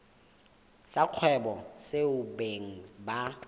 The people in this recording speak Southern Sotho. sa kgwebo seo beng ba